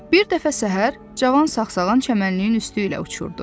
Bir dəfə səhər cavan sağsağan çəmənliyin üstü ilə uçurdu.